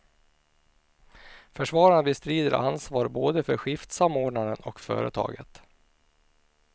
Försvararna bestrider ansvar både för skiftsamordnaren och företaget.